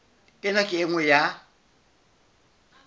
ena ke e nngwe ya